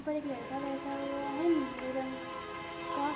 यहाँ पर एक लड़का बैठा हुआ है नीले रंग का